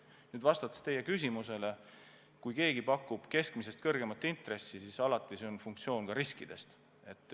Kui nüüd vastata teie küsimusele, siis kui keegi pakub keskmisest kõrgemat intressi, siis see on alati seotud ka riskiga.